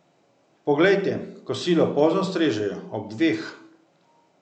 Poglejte, kosilo pozno strežejo, ob dveh.